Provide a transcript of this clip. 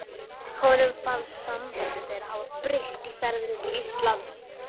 Honum fannst samband þeirra hafa breyst í ferðinni til Íslands.